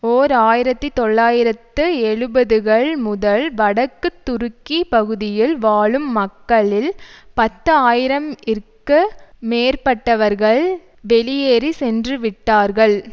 ஓர் ஆயிரத்தி தொள்ளாயிரத்து எழுபதுகள் முதல் வடக்கு துருக்கி பகுதியில் வாழும் மக்களில் பத்து ஆயிரம் இற்கு மேற்பட்டவர்கள் வெளியேறி சென்றுவிட்டார்கள்